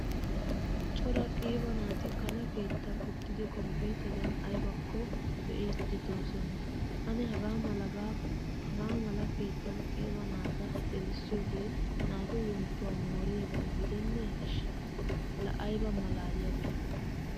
Cora qiiba naati kana keettan uttidi kompiteriyan aybako be'idi deosona. Ane hagaamala keettan qiiba naata gelisiyoge naatu wonttuwaa woriyoga gidene ishi. La aybba malaaliyabe!